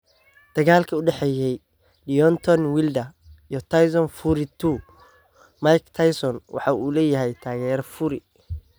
Dagaalka u dhexeeya Deontay Wilder iyo Tyson Fury II: Mike Tyson waxa uu leeyahay taageere Fury